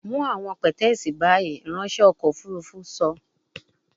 Mu awọn pẹtẹẹsì bayi, iranṣẹ ọkọ ofurufu sọ